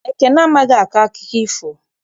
Ekene amaghị akọ akụkọ ifo.